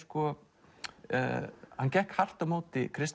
hann gekk hart á móti